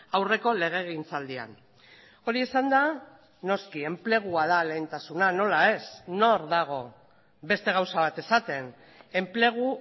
aurreko legegintzaldian hori esanda noski enplegua da lehentasuna nola ez nor dago beste gauza bat esaten enplegu